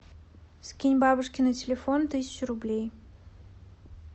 скинь бабушке на телефон тысячу рублей